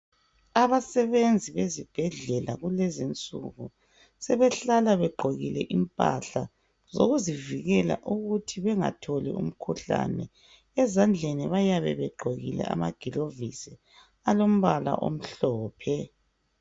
Abasebenzi bezibhedlela kulezi nsuku sebehlala begqokile impahla zokuzivikela ukuthi bengatholi umkhuhlane, ezandleni bayabe begqokile amaglovisi alombala omhlophe.